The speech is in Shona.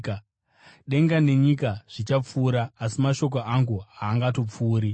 Denga nenyika zvichapfuura, asi mashoko angu haangatongopfuuri.